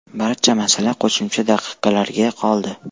Barcha masala qo‘shimcha daqiqalarga qoldi.